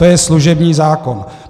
To je služební zákon.